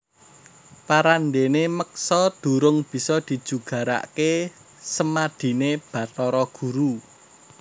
Parandéné meksa durung bisa dijugaraké semadiné Bathara Guru